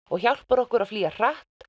og hjálpar okkur að flýja hratt